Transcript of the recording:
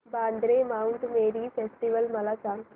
Vandre Mount Mary festival मला सांग